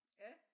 Ja